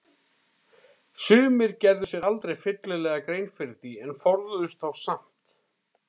Sumir gerðu sér aldrei fyllilega grein fyrir því en forðuðust þá samt.